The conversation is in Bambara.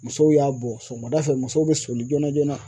Musow y'a bɔ sɔgɔmada fɛ musow bɛ soli joona joona